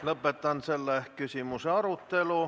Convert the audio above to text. Lõpetan selle küsimuse arutelu.